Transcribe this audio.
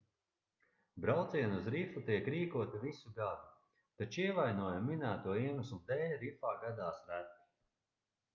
braucieni uz rifu tiek rīkoti visu gadu taču ievainojumi minēto iemeslu dēļ rifā gadās reti